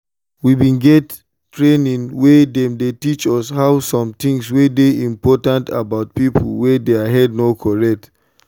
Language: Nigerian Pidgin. we bin get training wey them teach us how sometings wey dey important about people wey their head no correct.